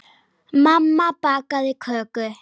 Mamma bakaði köku.